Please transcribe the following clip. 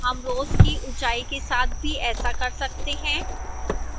हम row की ऊंचाई के साथ भी ऐसा कर सकते हैं